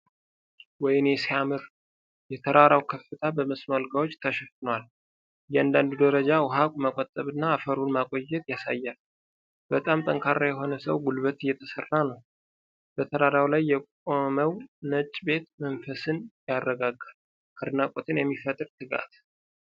ወይኔ ሲያምር! የተራራው ከፍታ በመስኖ አልጋዎች ተሸፍኗል። እያንዳንዱ ደረጃ ውኃን መቆጠብና አፈሩን ማቆየትን ያሳያል። በጣም ጠንካራ የሆነ የሰው ጉልበት የተሰራ ነው። በተራራው ላይ የቆመው ነጭ ቤት መንፈስን ያረጋጋል። አድናቆትን የሚፈጥር ትጋት!